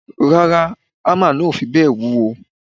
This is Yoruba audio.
Rárá, hámà náà ò fi bẹ́ẹ̀ wúwo.